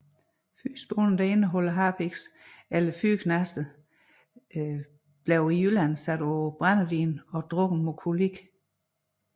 Harpiksholdige fyrrespåner eller fyrreknaster blev i Jylland sat på brændevin og drukket mod kolik